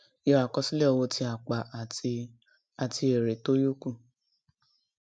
yọ àkọsílẹ owó tí a pa àti àti èrè tó yókù